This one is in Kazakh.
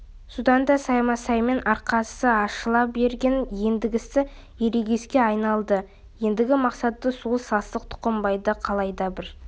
содан да саймасаймен арасы ашыла берген ендігісі ерегеске айналды ендігі мақсат сол сасық тұқымбайды қалайда бір